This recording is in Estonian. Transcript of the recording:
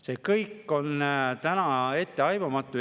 See kõik on täna etteaimamatu.